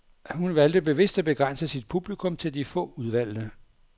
Hun valgte bevidst at begrænse sit publikum til de få udvalgte.